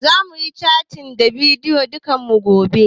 Zamuyi catin ta bidiyo da kakannin mu gobe